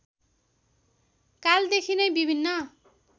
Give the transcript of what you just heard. कालदेखि नै विभिन्न